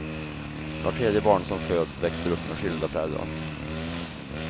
Vart tredje barn som föds växer upp med skilda föräldrar.